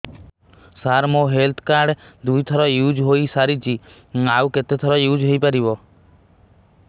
ସାର ମୋ health card ଦୁଇ ଥର ୟୁଜ଼ ହୈ ସାରିଛି ଆଉ କେତେ ଥର ୟୁଜ଼ ହୈ ପାରିବ